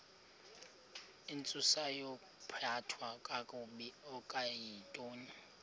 intsusayokuphathwa kakabi okuyintoni